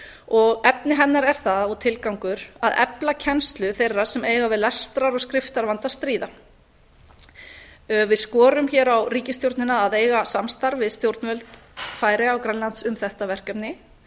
og efni hennar er það og tilgangur að efla kennslu þeirra sem eiga við lestrar og skriftarvanda að stríða við skorum hér á ríkisstjórnina að eiga samstarf við stjórnvöld færeyja og grænlands um þetta verkefni